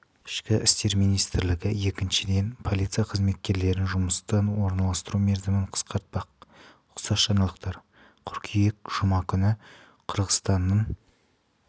ішкі істер министрлігі екіншіден полиция қызметкерлерін жұмысқа орналастыру мерзімін қысқартпақ ұқсас жаңалықтар қыркүйек жұма күні қырғызстанның